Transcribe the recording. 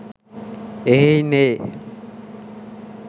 එහෙයින් ඒ